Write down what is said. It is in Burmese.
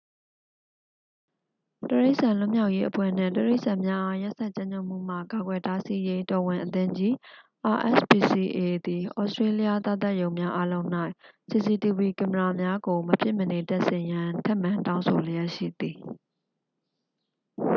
တိရိစ္ဆာန်လွတ်မြောက်ရေးအဖွဲ့နှင့် တိရိစ္ဆာန်များအား ရက်စက်ကြမ်းကြုတ်မှုမှ ကာကွယ်တားဆီးရေး တော်ဝင်အသင်းကြီး rspca သည် ဩစတေးလျသားသတ်ရုံများအားလုံး၌ စီစီတီဗွီ ကင်မရာများကို မဖြစ်မနေတပ်ဆင်ရန် ထပ်မံတောင်းဆိုလျက်ရှိသည်။